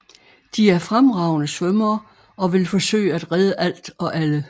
De er fremragende svømmere og vil forsøge at redde alt og alle